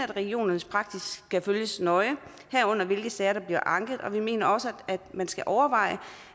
regionernes praksis skal følges nøje herunder hvilke sager der bliver anket og vi mener også man skal overveje